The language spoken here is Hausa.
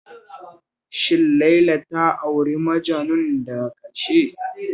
Shin Laila da auri Majanun daga ƙarshen?